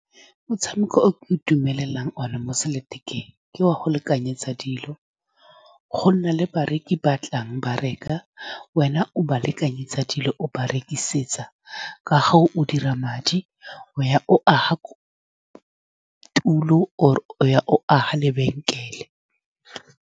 Motshameko o ke itumelelang one mo selelathekeng ke wa go lekanyetsa dilo. Go nna le bareki ba batlang ba reka, wena o ba lekanyetsa dilo, o ba rekisetsa ka fa o dira madi. O ya o aga tulo, or-e o ya o aga lebenkele.